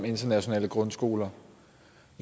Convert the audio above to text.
internationale grundskoler